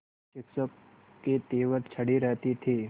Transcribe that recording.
शिक्षक के तेवर चढ़े रहते थे